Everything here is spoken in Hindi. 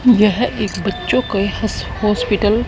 यह एक बच्चों के हॉस्पिटल --